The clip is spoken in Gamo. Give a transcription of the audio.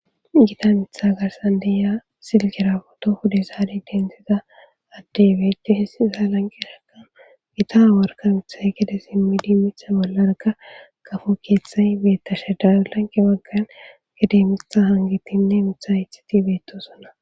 gita mitha garsan deya silgira boto hude zaadi densiza addebeeche hissi sa lanqe raka gita worka mithay gide simmi di mitha bollarga kafo keeththay beetta sheda lanke waggan gidemitha hangitinne mitha itxiti beetosona